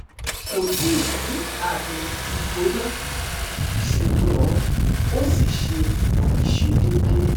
Ko ti ni ami igbona, ṣugbọn o si ṣe aiṣedeede